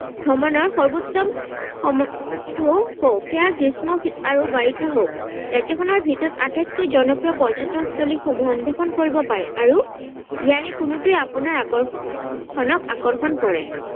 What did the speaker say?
ভ্ৰমনৰ সৰ্বোত্তম সময়টো কও সেয়া গ্ৰীষ্ম আৰু বাৰিষা হওক ৰাজ্যখনৰ ভিতৰত আটাইতকৈ জনপ্ৰিয় পৰ্যতনস্থলীসমূহ অন্বেষণ কৰিব পাৰে আৰু ইয়াৰে কোনোটোৱে আপোনাৰ আকৰ্ষণক আকৰ্ষণ কৰে।